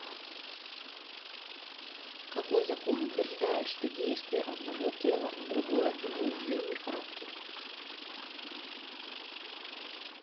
какой закон утверждает что действие одного тела на другое имеет взаимный характер